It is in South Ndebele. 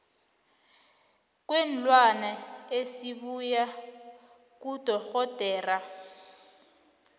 kweenlwana esibuya kudorhodera